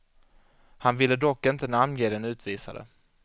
Han ville dock inte namnge den utvisade.